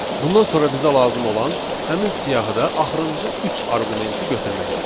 Bundan sonra bizə lazım olan həmin siyahıda axırıncı üç arqumenti götürməkdir.